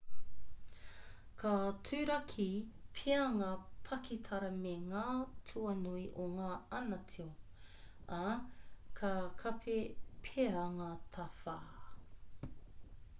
ka turaki pea ngā pakitara me ngā tuanui o ngā ana tio ā ka kapi pea ngā tawhā